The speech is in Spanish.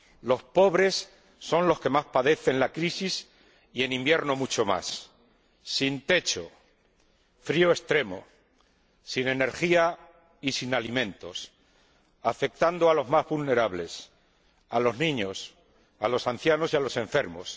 Los pobres son los que más padecen la crisis, y en invierno mucho más sin techo, frío extremo, sin energía y sin alimentos, afectando a los más vulnerables, a los niños, a los ancianos y a los enfermos.